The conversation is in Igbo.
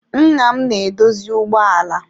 Nna m na-edozi ụgbọ ala.